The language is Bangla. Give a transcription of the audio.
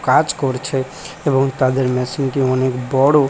কাজ করছে এবং তাদের মেশিন -টি অনেক বড়।